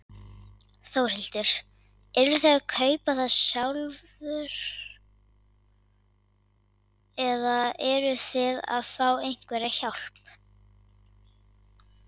Þórhildur: Eruð þið að kaupa það sjálfur eða eruð þið að fá einhverja hjálp?